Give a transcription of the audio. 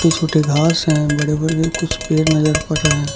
छोटे घास है बड़े बड़े कुछ पेड़ नजर पड़ रहे --